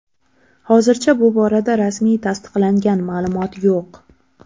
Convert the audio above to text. Hozircha bu borada rasmiy tasdiqlangan ma’lumot yo‘q.